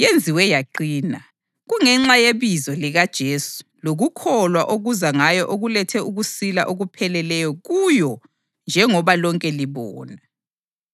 yenziwe yaqina. Kungenxa yebizo likaJesu lokukholwa okuza ngaye okulethe ukusila okupheleleyo kuyo njengoba lonke libona.